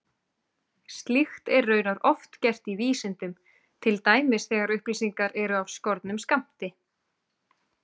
Slíkt er raunar oft gert í vísindum, til dæmis þegar upplýsingar eru af skornum skammti.